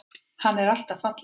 Hann er alltaf fallegur.